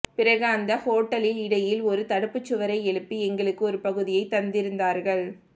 பிறகு அந்தக் ஹொஸ்டலில் இடையில் ஒரு தடுப்புச் சுவரை எழுப்பி எங்களுக்கு ஒரு பகுதியைத் தந்திருந்தார்கள்